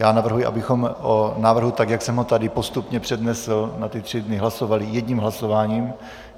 Já navrhuji, abychom o návrhu, tak jak jsem ho tady postupně přednesl na ty tři dny, hlasovali jedním hlasováním.